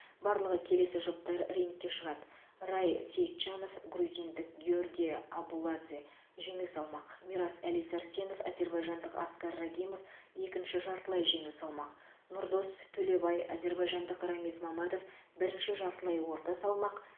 барлығы келесі жұптар рингке шығады рай сейітжанов грузиндік гиорги абуладзе жеңіл салмақ мирас әли сәрсенов әзербайжандық аскар рагимов екінші жартылай жеңіл салмақ нұрдос төлебай әзербайжандық рамиз мамадов бірінші жартылай орта салмақ